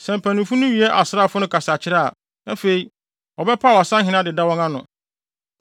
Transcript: Sɛ mpanyimfo no wie asraafo no kasakyerɛ a, afei wɔbɛpaw asahene adeda wɔn ano.